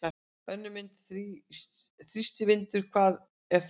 Önnur mynd: Þrýstivindur- hvað er það?